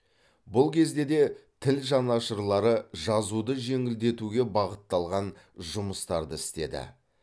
бұл кезде де тіл жанашырлары жазуды жеңілдетуге бағытталған жұмыстарды істеді